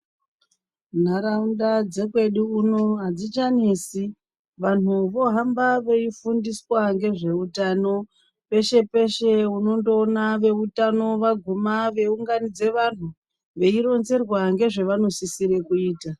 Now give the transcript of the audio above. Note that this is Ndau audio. Nharaunda dzekwedu uno adzichanesi vanhu vohamba veifunduswa ngezveutano peshe peshe unondoona veutano vaguma veyiunganidza vandu veironzerwa ngezvevanosisire kuita.